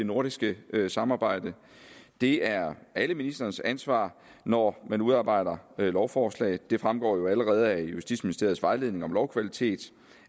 nordiske samarbejde det er alle ministres ansvar når man udarbejder lovforslag det fremgår jo allerede af justitsministeriets vejledning om lovkvalitet